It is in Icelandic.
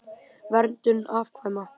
Verndun afkvæma